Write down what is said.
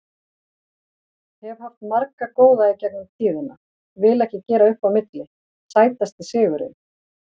Hef haft marga góða í gegnum tíðina, vil ekki gera upp á milli Sætasti sigurinn?